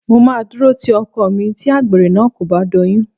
Mo máa dúró ti ọkọ mi tí àgbèrè náà kò bá doyún